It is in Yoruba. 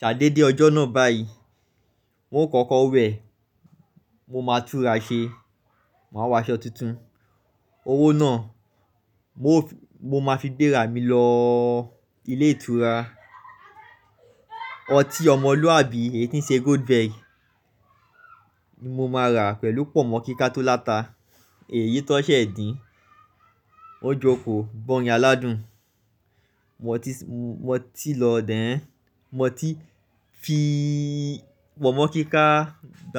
Ṣadé dé ọjọ́ náà báyìí, n ó kọ́kọ́ wẹ̀, mo máa túnra ṣe, màá wọ aṣọ tuntun. Owó náà mo máa fi gbéra mi lọ ilé ìtura. Ọtí ọmọlúwàbí eyi tí n ṣe Goldberg ni mo máa rà pẹ̀lú pọ̀nmọ́ kíká tó láta. Èyí tan ṣẹ̀ dín, n ó jókòó, gbọ̀ orín aládùn. Mu oti lọ then, ẹ́, mu oti fi pọ̀nmọ́ kíká.